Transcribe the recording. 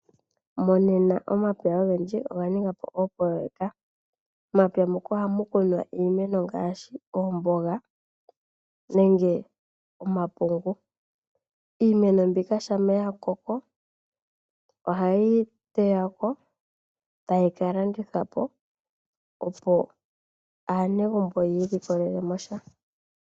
Monena omapya ogendji oga ninga po oopoloyeka. Momapya muka ohamu kunwa iimeno ngaashi omboga nenge omapungu. Iimeno mbika shampa ya koko oha yeyi teya ko tayi ka landithwapo opo aanegumbo yi ilikolelemo sha.